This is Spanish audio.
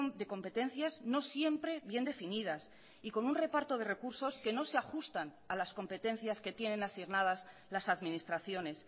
de competencias no siempre bien definidas y con un reparto de recursos que no se ajustan a las competencias que tienen asignadas las administraciones